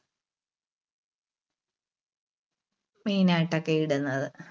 main ആയിട്ടൊക്കെ ഇടുന്നത്.